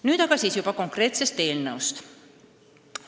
Nüüd aga juba konkreetsest eelnõust.